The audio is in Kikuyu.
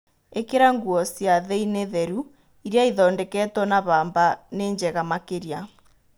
ĩkĩra nguo cia thĩinĩ theru, iria ithondeketwo na mbamba nĩ njega makĩria.